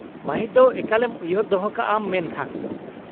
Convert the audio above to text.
ᱢᱟ.ᱦᱤᱫ ᱫᱚ ᱮᱠᱟᱞᱮᱢ ᱩᱭᱦᱟ.ᱨ ᱫᱚᱦᱚ ᱠᱟᱜ ᱟᱢ ᱢᱮᱱᱠᱷᱟᱱ ᱾